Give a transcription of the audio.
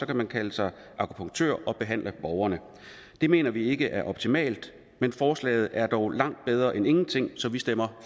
kan man kalde sig akupunktør og behandle borgerne det mener vi ikke er optimalt men forslaget er dog langt bedre end ingenting så vi stemmer